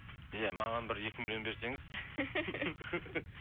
иә маған бір екі миллион берсеңіз